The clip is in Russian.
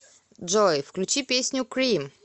джой включи песню крим